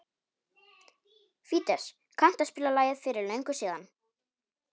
Fídes, kanntu að spila lagið „Fyrir löngu síðan“?